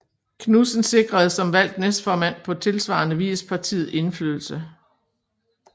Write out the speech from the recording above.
Knudsen sikrede som valgt næstformand på tilsvarende vis partiet indflydelse